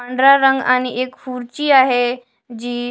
पांढरा रंग आणि एक खुर्ची आहे जी--